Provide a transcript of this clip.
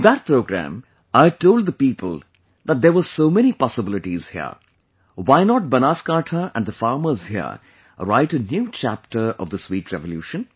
In that programme, I had told the people that there were so many possibilities here... why not Banaskantha and the farmers here write a new chapter of the sweet revolution